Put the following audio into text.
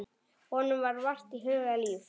Honum var vart hugað líf.